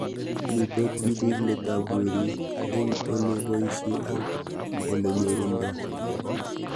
Mito tipik let ab werik eng' ole poishe ak ole nyorundoi